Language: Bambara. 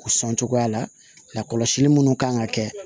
O sɔn cogoya la lakɔlɔsili minnu kan ka kɛ